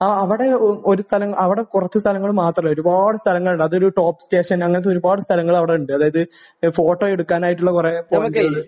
ആ. അവിടെ ഒ ഒരു സ്ഥലം അവിടെ കുറച്ച് സ്ഥലങ്ങൾ മാത്രമല്ല. ഒരുപാട് സ്ഥലങ്ങളുണ്ട്. അതൊരു ടോപ് സ്റ്റേഷൻ. അങ്ങനത്തെ ഒരുപാട് സ്ഥലങ്ങൾ അവിടെ ഉണ്ട്. അതായത് ഫോട്ടോയെടുക്കാനായിട്ടുള്ള കുറെ സ്ഥലങ്ങൾ